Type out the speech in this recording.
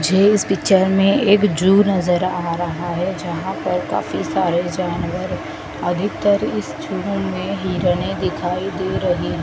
मुझे इस पिक्चर में एक जू नजर आ रहा है जहां पर काफी सारे जानवर अधिकतर इस जू में हिरनें दिखाई दे रही--